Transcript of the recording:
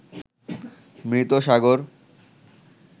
মৃত সাগর